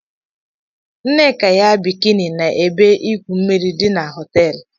Nneka yi bikini na ebe igwu mmiri di na họteelu.